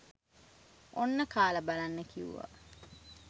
"ඔන්න කාලා බලන්න" කිව්වා.